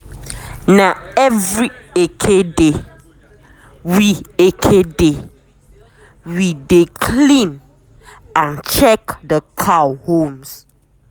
na every eke day we eke day we de clean and check d cow horns.